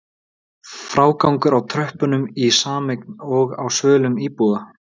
Frágangur á tröppum í sameign og á svölum íbúða?